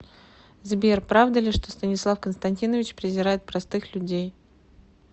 сбер правда ли что станислав константинович презирает простых людей